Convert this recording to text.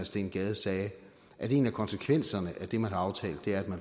steen gade sagde at en af konsekvenserne af det man har aftalt er